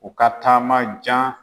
U ka taama jan.